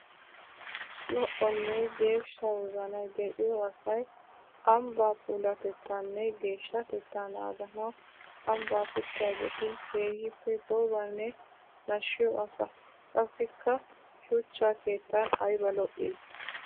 Lo'onne geeshsha wozanay de'iyo asay ambba puulatettanne geeshshatetta naaganawu ambba pittiyaagetti keehippe goobanne nashiyo asaa. Qassikka shuchcha keettan aybba lo'i!